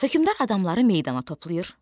Hökmdar adamları meydana toplayır.